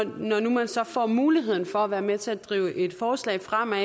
når nu man så får muligheden for at være med til at drive et forslag fremad